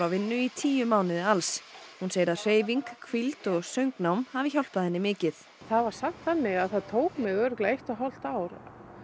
vinnu í tíu mánuði alls hún segir að hreyfing hvíld og söngnám hafi hjálpað henni mikið það var samt þannig að það tók mig örugglega eitt og hálft ár